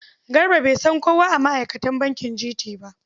Garba bai san kowa a ma'aikatan bankin GT ba.